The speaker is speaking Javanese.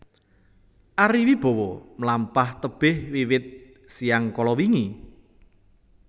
Ari Wibowo mlampah tebeh wiwit siyang kalawingi